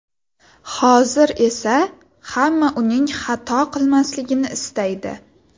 Hozir esa hamma uning xato qilmasligini istaydi.